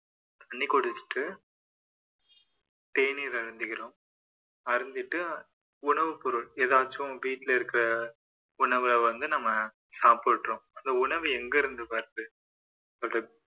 தண்ணி குடிச்சிட்டு தேநீர் அருந்துகிறோம் அருந்திட்டு உணவுப் பொருள் எதாச்சும் வீட்ல இருக்குற உணவ வந்து நம்ம சாப்பிடுகிறோம் அந்த உணவு எங்கிருந்து வருது அது